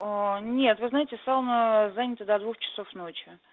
нет вы знаете сауна занята до двух часов ночи